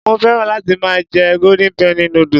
Mo féràn láti máa jẹ golden penny noodles.